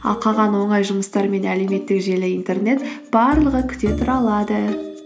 ал қалған оңай жұмыстар мен әлеуметтік желі интернет барлығы күте тұра алады